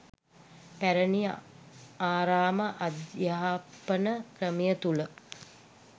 පැරණි ආරාම අධ්‍යාපන ක්‍රමය තුළ